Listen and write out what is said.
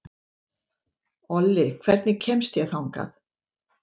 Olli, hvernig kemst ég þangað?